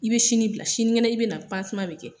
I be sini bila, siniŋɛnɛ i bɛ na bɛ kɛ.